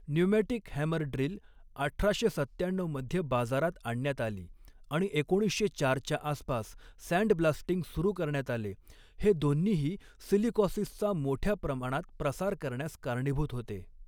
Pneumatic hammer drill अठराशे सत्याण्णऊ मध्ये बाजारात आणण्यात आली आणि एकोणीसशे चारच्या आसपास सँडब्लास्टिंग सुरू करण्यात आले, हे दोन्हीही सिलिकॉसिसचा मोठ्या प्रमाणात प्रसार करण्यास कारणीभूत होते.